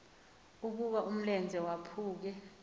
ukuba umlenze waphuke